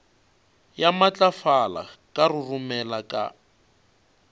ya matlafala ka roromela ka